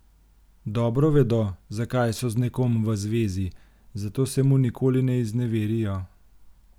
Dobro vedo, zakaj so z nekom v zvezi, zato se mu nikoli ne izneverijo.